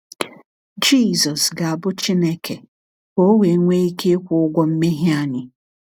Jisọs ga-abụ Chineke ka O wee nwee ike ịkwụ ụgwọ mmehie anyị.